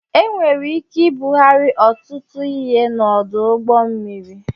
Enwere ike ibugari ọtụtụ ihe n'ọdụ ụgbọ mmiri